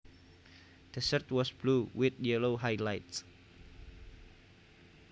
The shirt was blue with yellow highlights